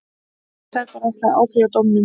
Serbar ætla að áfrýja dómnum.